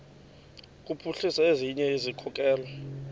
kuphuhlisa ezinye izikhokelo